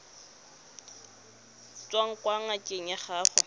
tswang kwa ngakeng ya gago